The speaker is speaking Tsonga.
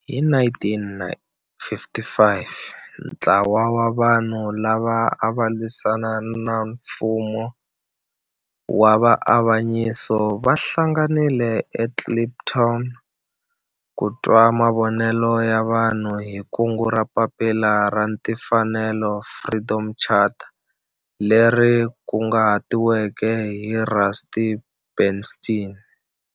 Hi 1955 ntlawa wa vanhu lava ava lwisana na nfumo wa avanyiso va hlanganile eKliptown ku twa mavonelo ya vanhu hi kungu ra Papila ra Tinfanelo, Freedom Charter leri kunguhatiweke hi Rusty Bernstein.